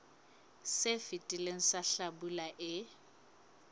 se fetileng sa hlabula e